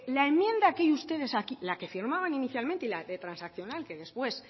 la enmienda que ustedes aquí la que firmaban inicialmente y la que transaccional que después